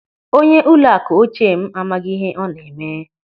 Onye ụlọakụ ochie m amaghị ihe ọ na-eme.